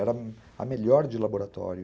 Era a melhor de laboratório.